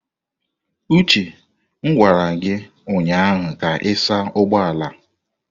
Uche m gwara gi ụnyahụ ka ị saa ụgbọ ala!